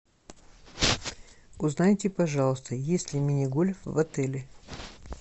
узнайте пожалуйста есть ли мини гольф в отеле